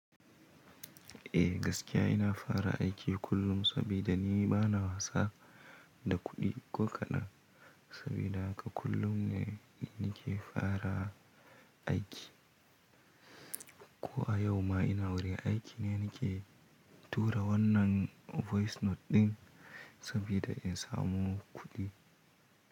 Eh gaskiya ina fara aiki kullum sabida ni bana wasa da kuɗi ko kaɗan. Sabida haka kullum ne nake fara aiki. Ko a yau ma ina wurin aiki ne nake tura wannan voice note ɗin sabida in samu kuɗi.